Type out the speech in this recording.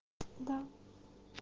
да